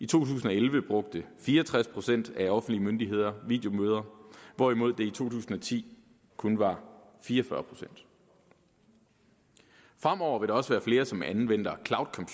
tusind og elleve brugte fire og tres procent af offentlige myndigheder videomøder hvorimod det tusind og ti kun var fire og fyrre procent fremover vil der også være flere som anvender